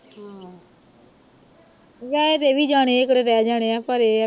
ਵਿਆਹੇ ਇਹ ਵੀ ਜਾਣੇ ਨੇ ਇਹ ਕਿਹੜੇ ਰਹਿ ਜਾਣੇ ਆ ਪਰ ਇਹ ਆ